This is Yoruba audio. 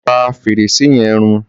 Pà fẹ́rẹ̀ṣẹ̀ yẹ̀n rún!